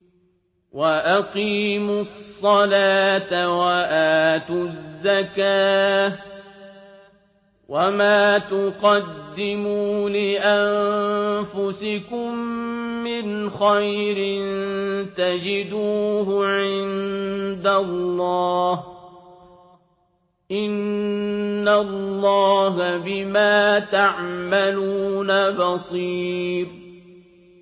وَأَقِيمُوا الصَّلَاةَ وَآتُوا الزَّكَاةَ ۚ وَمَا تُقَدِّمُوا لِأَنفُسِكُم مِّنْ خَيْرٍ تَجِدُوهُ عِندَ اللَّهِ ۗ إِنَّ اللَّهَ بِمَا تَعْمَلُونَ بَصِيرٌ